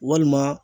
Walima